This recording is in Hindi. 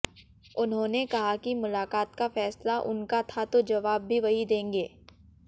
उन्होंने कहा कि मुलाकात का फैसला उनका था तो जवाब भी वहीं देंगे